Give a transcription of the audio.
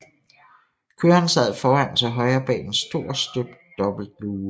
Køreren sad foran til højre bag en stor støbt dobbelt luge